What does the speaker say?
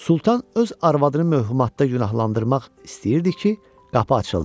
Sultan öz arvadını möhhamatda günahlandırmaq istəyirdi ki, qapı açıldı.